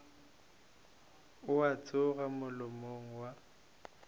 ao a tšwago molomong wa